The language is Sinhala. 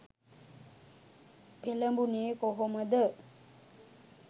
පෙළඹුණේ කොහොමද.